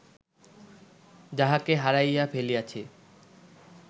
যাহাকে হারাইয়া ফেলিয়াছি